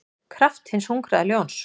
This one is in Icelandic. kraft hins hungraða ljóns.